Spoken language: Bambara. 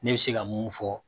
Ne bɛ se ka mun fɔ